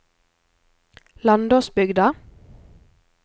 Landåsbygda